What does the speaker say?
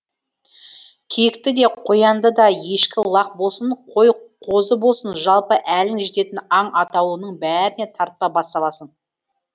киікті де қоянды да ешкі лақ болсын қой қозы болсын жалпы әлің жететін аң атаулының бәріне тарпа бас саласың